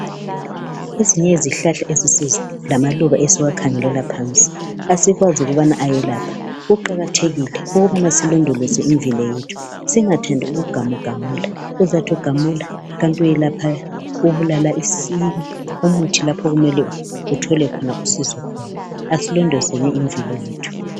Ezinye izihlahla lamaluba esiwakhangelela phansi asikwazi ukubana ayelapha kuqakathekile ukubana silondoloze imvelo yethu singathandi ukugamugamula, uzathi ugamula kanti ubulala umuthi lapho okumele uthole usizo khona, asilondolozeni emvelo yethu.